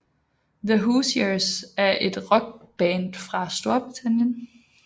The Hoosiers er et Rockband fra Storbritannien